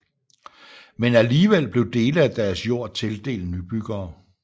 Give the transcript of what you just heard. Men alligevel blev dele af deres jord tildelt nybyggere